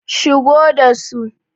shigo da su!